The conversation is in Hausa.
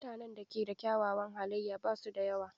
Mutanen da ke da kyawawan halaye ba su da yawa.